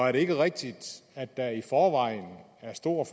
er det ikke rigtigt at der i forvejen er stor